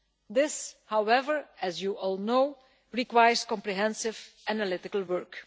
This, however, as you all know requires comprehensive analytical work.